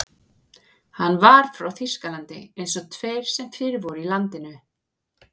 Hann var frá Þýskalandi eins og hinir tveir sem fyrir voru í landinu.